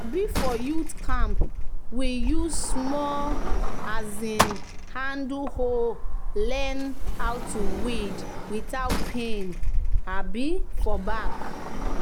um "for youth camp we use small um handle hoe learn how to weed without pain um for back."